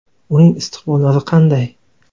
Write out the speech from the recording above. Uning istiqbollari qanday?